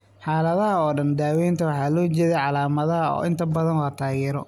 Xaaladaha oo dhan, daawaynta waxaa loo jeediyaa calaamadaha oo inta badan waa taageero.